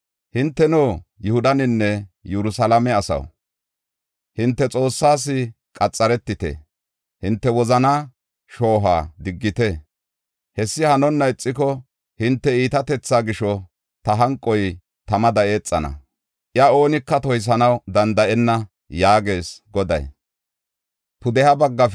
Hinteno, Yihudanne Yerusalaame asaw, hinte Xoossaas qaxaretite; hinte wozanaa shoohuwa diggite. Hessi hanonna ixiko hinte iitatethaa gisho, ta hanqoy tamada eexana; iya oonika toysanaw danda7enna” yaagees Goday.